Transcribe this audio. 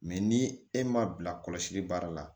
ni e ma bila kɔlɔsili baara la